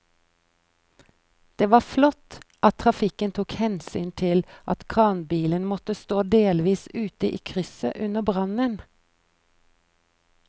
Det var flott at trafikken tok hensyn til at kranbilen måtte stå delvis ute i krysset under brannen.